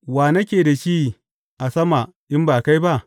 Wa nake da shi a sama in ba kai ba?